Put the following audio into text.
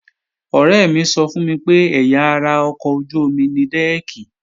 Ọ̀rẹ́ mi sọ fún mi pé ẹ̀yà ara ọkọ̀ ojú-omi ni dẹ́ẹ̀kì